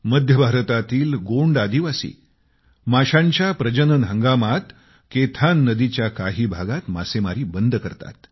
मध्य भारतातली गोंड आदिवासी माशांच्या प्रजनन हंगामात केथान नदीच्या काही भागात मासेमारी बंद करतात